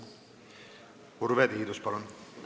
Urve Tiidus, palun!